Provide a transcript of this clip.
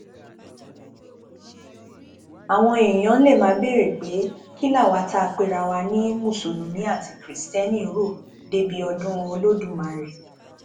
àwọn èèyàn lè máa béèrè pé kí làwa tá a pera wa ní mùsùlùmí àti kiristẹni rò débi ọdún olódùmarè